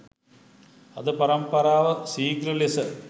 අද පරම්පරාව සීග්‍රලෙස